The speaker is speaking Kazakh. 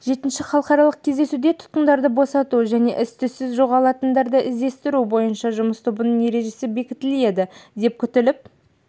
жетінші халықаралық кездесуде тұтқындарды босату және із-түзсіз жоғалғандарды іздестіру бойынша жұмыс тобының ережесі бекітіледі деп күтіліп